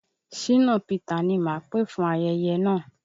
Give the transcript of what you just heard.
Ṣínà Pità ni máà pè fún ayeye náà.